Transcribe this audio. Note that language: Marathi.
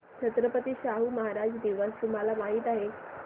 छत्रपती शाहू महाराज दिवस तुम्हाला माहित आहे